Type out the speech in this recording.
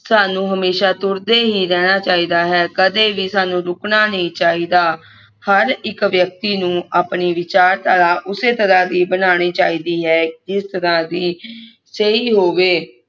ਸਾਨੂੰ ਹਮੇਸ਼ਾ ਤੁਰਦੇ ਹੀ ਰਹਿਣਾ ਚਾਹੀਦਾ ਹੈ ਕਦੇ ਵੀ ਸਾਨੂੰ ਰੁਕਣਾ ਨਹੀਂ ਚਾਹੀਦਾ ਹਰ ਇਕ ਵਿਅਕਤੀ ਨੂੰ ਆਪਣੀ ਵਿਚਾਰਧਾਰਾ ਉਸੇ ਤਰ੍ਹਾਂ ਦੀ ਬਣਾਣੀ ਚਾਹੀਦੀ ਹੈ ਜਿਸ ਤਰ੍ਹਾਂ ਦੀ ਸਹੀ ਹੋਵੇ